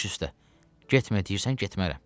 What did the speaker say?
Baş üstə, getmə deyirsən getmərəm.